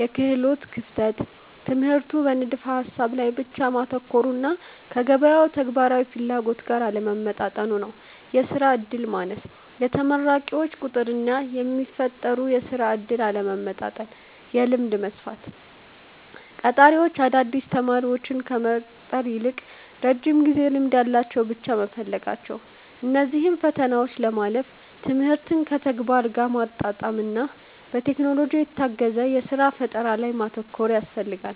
-የክህሎት ክፍተት፦ ትምህርቱ በንድፈ-ሐሳብ ላይ ብቻ ማተኮሩና ከገበያው ተግባራዊ ፍላጎት ጋር አለመጣጣሙ። -የሥራ ዕድል ማነስ፦ የተመራቂዎች ቁጥርና የሚፈጠሩ የሥራ ዕድሎች አለመመጣጠን። -የልምድ መስፈርት፦ ቀጣሪዎች አዳዲስ ተማሪዎችን ከመቅጠር ይልቅ የረጅም ጊዜ ልምድ ያላቸውን ብቻ መፈለጋቸው። እነዚህን ፈተናዎች ለማለፍ ትምህርትን ከተግባር ጋር ማጣመርና በቴክኖሎጂ የታገዘ የሥራ ፈጠራ ላይ ማተኮር ያስፈልጋል።